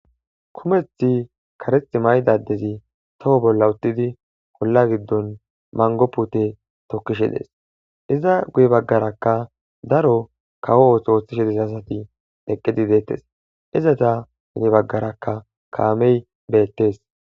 kumeth kareth maydadezi toho bolla uttidi polla giddon mango pute tokkishe dees iza guye baggarakka daro kawo ooso ooththishedes asati eqqidi deettes izata hine baggaraka kaamey beettes